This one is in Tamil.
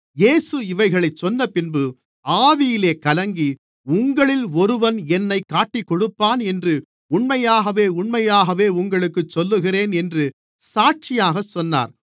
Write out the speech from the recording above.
இயேசு இவைகளைச் சொன்னபின்பு ஆவியிலே கலங்கி உங்களில் ஒருவன் என்னைக் காட்டிக்கொடுப்பான் என்று உண்மையாகவே உண்மையாகவே உங்களுக்குச் சொல்லுகிறேன் என்று சாட்சியாகச் சொன்னார்